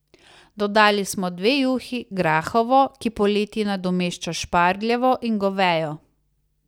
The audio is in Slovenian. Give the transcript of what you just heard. Dodali smo dve juhi, grahovo, ki poleti nadomešča špargljevo, in govejo.